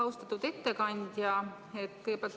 Austatud ettekandja!